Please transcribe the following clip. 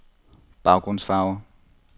baggrundsfarve